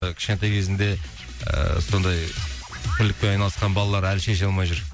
і кішкентай кезінде ііі сондай көлікпен айналысқан балалар әлі шеше алмай жүр